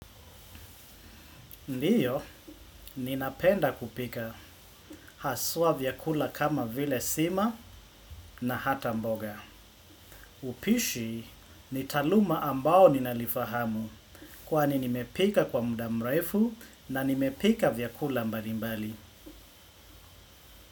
Ndiyo, ninapenda kupika, haswa vyakula kama vile sima na hata mboga. Upishi, ni taaluma ambao ninalifahamu, kwani nimepika kwa muda mrefu na nimepika vyakula mbalimbali.